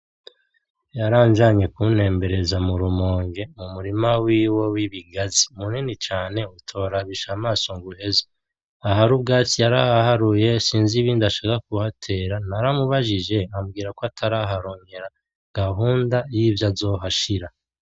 Yaranjanye kuntembereza mu Rumonge mu murima wiwe w'ibigazi. Munini cane utorabisha amaso ngo uheze. Ahari ubwatsi yarahaharuye, sinsi ibindi ashaka kuhatera. Naramubajije ambwira ko atararonka gahunda y'ivyo azohashira.